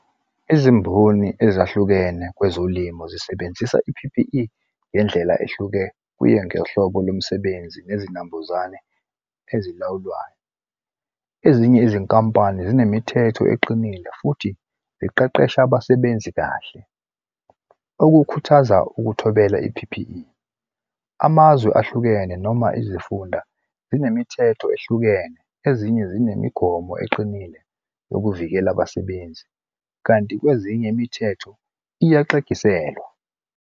Izimboni ezahlukene kwezolimo zisebenzisa i-P_P_E ngendlela ehluke, kuye ngohlobo lomsebenzi nezinambuzane ezilawulwayo. Ezinye izinkampani zinemithetho eqinile futhi ziqeqesha abasebenzi kahle. Okukhuthaza ukuthobela i-P_P_E. Amazwe ahlukene noma izifunda zinemithetho ehlukene ezinye zinemigomo eqinile yokuvikela abasebenzi, kanti kwezinye imithetho iyaxegiselwa.